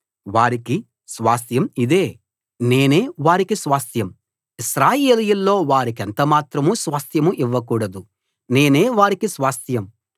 వారికి స్వాస్థ్యం ఇదే నేనే వారికి స్వాస్థ్యం ఇశ్రాయేలీయుల్లో వారికెంత మాత్రం స్వాస్థ్యం ఇవ్వకూడదు నేనే వారికి స్వాస్థ్యం